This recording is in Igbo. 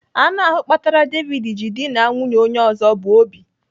Anụ ahụ kpatara David ji dịna nwunye onye ọzọ bụ Obi.